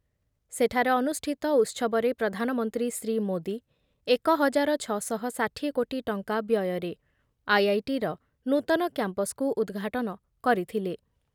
ସେଠାରେ ଅନୁଷ୍ଠିତ ଉତ୍ସବରେ ପ୍ରଧାନମନ୍ତ୍ରୀ ଶ୍ରୀଯୁକ୍ତ ମୋଦି ଏକ ହଜାର ଛଅଶହ ଷାଠିଏ କୋଟି ଟଙ୍କା ବ୍ୟୟରେ ଆଇ ଆଇ ଟିର ନୂତନ କ୍ୟାମ୍ପ୍‌କୁ ଉଦ୍‌ଘାଟନ କରିଥିଲେ